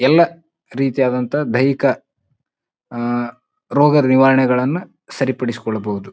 ಎಲ್ಲಾ ರೀತಿಯಾದಂತಹ ದೈಹಿಕ ಅಹ್ ರೋಗ ನಿವಾರಣೆಗಳನ್ನ ಸರಿಪಡಿಸಿಕೊಳ್ಳಬಹುದು.